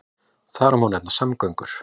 Má þar nefna samgöngur.